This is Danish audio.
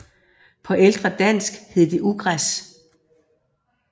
På ældre dansk hed det ugræs